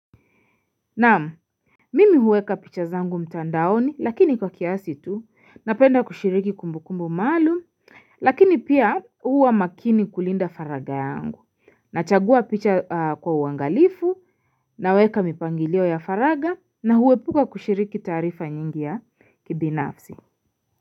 Naam mimi huweka picha zangu mtandaoni lakini kwa kiasi tu napenda kushiriki kumbukumbu maalum lakini pia huwa makini kulinda faraga yangu Nachagua picha kwa uangalifu na huweka mipangilio ya faragha na huepuka kushiriki taarifa nyingi ya kibinafsi.